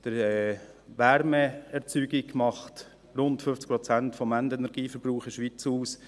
Die Wärmeerzeugung macht rund 50 Prozent des Endenergieverbrauchs in der Schweiz aus.